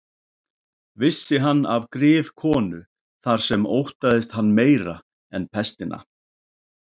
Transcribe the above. Vissi hann af griðkonu þar sem óttaðist hann meira en pestina.